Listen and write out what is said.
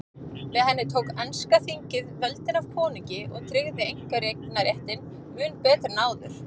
Með henni tók enska þingið völdin af konungi og tryggði einkaeignarréttinn mun betur en áður.